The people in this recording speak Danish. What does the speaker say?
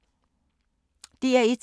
DR1